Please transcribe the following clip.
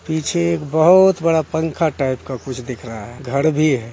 पीछे एक बहुत बड़ा पंखा टाइप का कुछ दिख रहा है घर भी है |